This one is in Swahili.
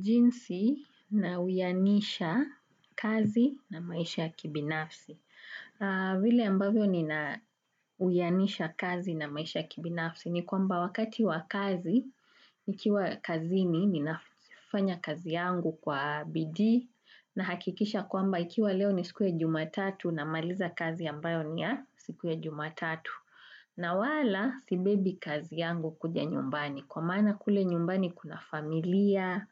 Jinsi na uyanisha kazi na maisha ya kibinafsi. Vile ambavyo ni na uyanisha kazi na maisha ya kibinafsi ni kwamba wakati wa kazi, ikiwa kazini ni nafanya kazi yangu kwa BiDii na hakikisha kwamba ikiwa leo ni siku ya jumatatu na maliza kazi ambayo ni ya siku ya jumatatu. Na wala sibebi kazi yangu kuja nyumbani. Kwa maana kule nyumbani kuna familia,